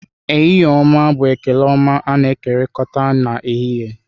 Ehihie-oma bụ ekele ọma a-na ekokorita na ehihie.